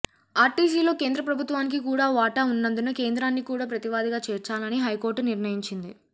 ఆర్టీసీలో కేంద్ర ప్రభుత్వానికి కూడా వాటా ఉన్నందున కేంద్రాన్ని కూడా ప్రతివాదిగా చేర్చాలని హైకోర్టు నిర్ణయించింది